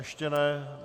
Ještě ne.